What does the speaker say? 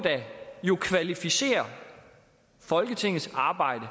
jo kvalificere folketingets arbejde